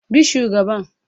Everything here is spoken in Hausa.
Bi shugaban